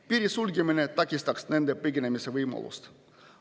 Piiri sulgemine takistaks nende põgenemise võimalust.